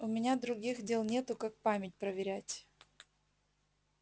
у меня других дел нет как память проверять